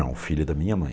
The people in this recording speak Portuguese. Não, filha da minha mãe.